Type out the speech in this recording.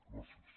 gràcies